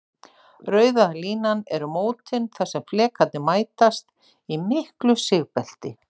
Rauða línan eru mótin þar sem flekarnir mætast, í miklu sigbelti.